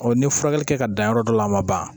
ni furakɛli kɛ ka dan yɔrɔ dɔ la a ma ban